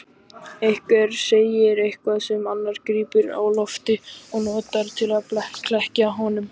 Einhver segir eitthvað sem annar grípur á lofti og notar til að klekkja á honum.